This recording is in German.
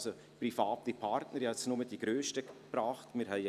Wer diesem Kredit zustimmen will, stimmt Ja, wer diesen ablehnt, stimmt Nein.